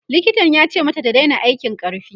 likitan yace mata ta Daina aikin ƙarfi